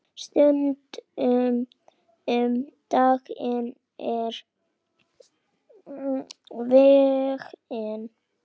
Stundum um daginn og veginn.